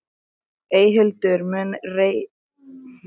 Eyhildur, mun rigna í dag?